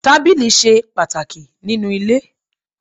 Tábìlì ṣe pàtàkì nínú ilé.